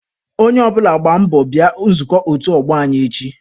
Onye ọ bụla gbaa mbọ bịa nzukọ otu ọgbọ anyị echi.